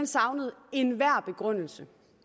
savnede enhver begrundelse